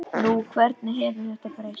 Nú, hvernig hefur þetta breyst?